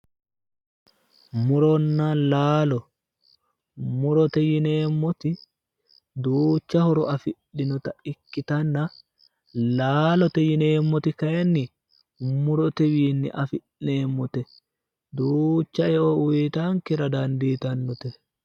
Muronna laalo, murote yineemmoti duucha horo afidhinota ikkitanna laalote yineemmoti kayiinni mutotewiinni afi'neemmote duucha eo uytankera dandiitannote.